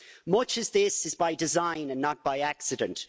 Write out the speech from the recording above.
Much of this is by design and not by accident.